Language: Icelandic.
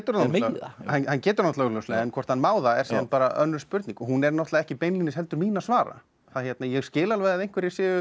það hann getur það augljóslega en hvort hann má það er síðan bara önnur spurning og hún er ekki beinlínis mín að svara ég skil alveg að einhverjir séu